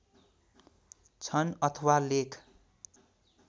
छन् अथवा लेख